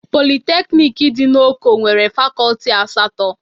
Polịteknik dị na Oko nwere Fakọlti asatọ.